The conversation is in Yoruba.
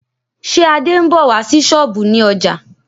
Ṣé Adé ń bọ̀ wá sí sọ́ọ̀bù ní ọjà